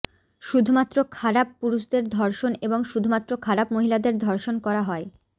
শুধুমাত্র খারাপ পুরুষদের ধর্ষণ এবং শুধুমাত্র খারাপ মহিলাদের ধর্ষণ করা হয়